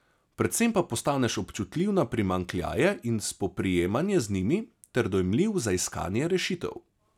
Predvsem pa postaneš občutljiv na primanjkljaje in spoprijemanje z njimi ter dojemljiv za iskanje rešitev.